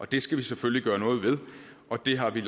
det skal vi selvfølgelig gøre noget ved og det har vi